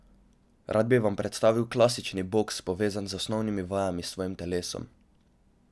Rad bi vam predstavil klasični boks, povezan z osnovnimi vajami s svojim telesom.